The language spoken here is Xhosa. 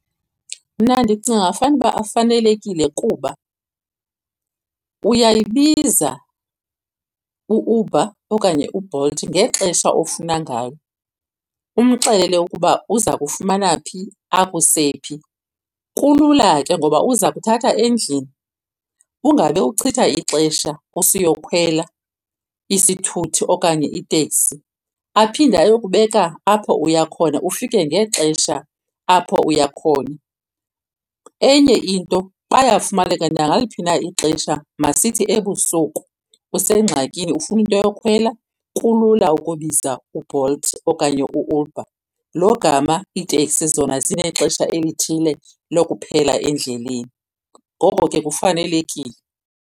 Mna ndicinga fanuba afanelekile kuba uyayibiza u-Uber okanye uBolt ngexesha ofuna ngalo, umxelele ukuba uza kufumana phi akuse phi. Kulula ke ngoba uza kuthatha endlini ungabe uchitha ixesha usiyokhwela isithuthi okanye iteksi, aphinde ayokubeka apho uya khona ufike ngexesha apho uya khona. Enye into bayafumaneka nangaliphi na ixesha. Masithi ebusuku usengxakini ufuna into yokhwela, kulula ukubiza uBolt okanye u-Uber, lo gama iiteksi zona zinexesha elithile lokuphela endleleni. Ngoko ke kufanelekile.